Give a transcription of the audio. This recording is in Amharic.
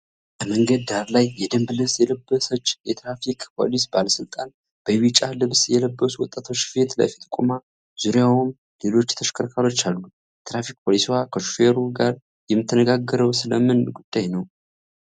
ከመንገድ ዳር ላይ፣ የደንብ ልብስ የለበሰች የትራፊክ ፖሊስ ባለሥልጣን፣ በቢጫ ልብስ የለበሱ ወጣቶች ፊት ለፊት ቆማ፣ ዙሪያውም ሌሎች ተሽከርካሪዎች አሉ። የትራፊክ ፖሊስዋ ከሹፌሩ ጋር የምትነጋገረው ስለ ምን ጉዳይ ነው?